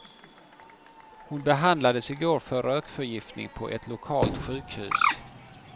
Hon behandlades i går för rökförgiftning på ett lokalt sjukhus.